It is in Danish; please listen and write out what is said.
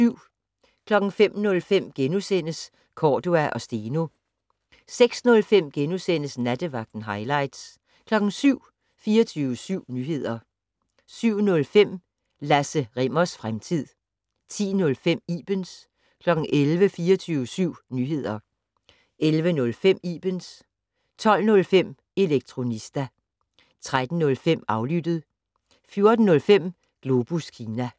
05:05: Cordua & Steno * 06:05: Nattevagten - hightlights * 07:00: 24syv Nyheder 07:05: Lasse Rimmers fremtid 10:05: Ibens 11:00: 24syv Nyheder 11:05: Ibens 12:05: Elektronista 13:05: Aflyttet 14:05: Globus Kina